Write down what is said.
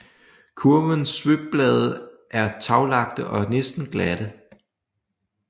Kurvenes svøbblade er taglagte og næsten glatte